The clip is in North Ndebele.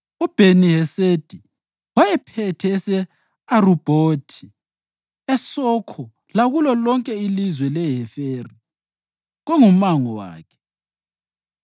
uBheni-Hesedi wayephethe ese-Arubhothi (eSokho lakulo lonke ilizwe leHeferi kungumango wakhe);